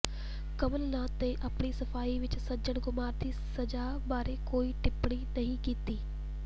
ਕਮਲ ਨਾਥ ਨੇ ਆਪਣੀ ਸਫ਼ਾਈ ਵਿੱਚ ਸੱਜਣ ਕੁਮਾਰ ਦੀ ਸਜ਼ਾ ਬਾਰੇ ਕੋਈ ਟਿੱਪਣੀ ਨਹੀਂ ਕੀਤੀ